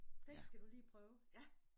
Det skal du lige prøve ja